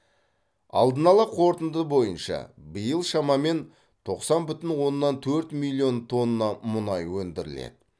алдын ала қорытынды бойынша биыл шамамен тоқсан бүтін оннан төрт миллион тонна мұнай өндіріледі